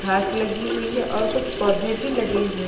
घास लगी हुई है और कुछ पौधे भी लगे हुएं।